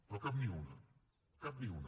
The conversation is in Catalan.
però cap ni una cap ni una